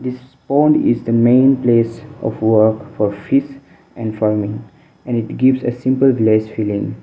this pond is the main place of work for fish and farming and it gives a simple village feeling.